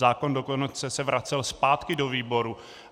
Zákon se dokonce vracel zpátky do výboru.